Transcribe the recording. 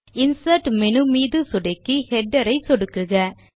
insert menu மீது சொடுக்கி Header ஐ சொடுக்குக